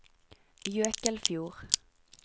Jøkelfjord